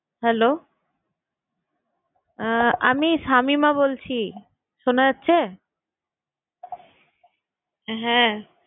Hello আহ আমি শামিমা বলছি। শোনা যাচ্ছে? হ্যাঁ।